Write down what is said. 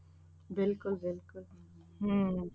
ਬਿਲਕੁਲ ਹਮ